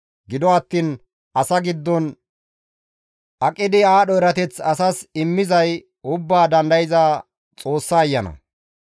Gido attiin asa giddon aqidi aadho erateth asas immizay Ubbaa Dandayza Xoossa ayana.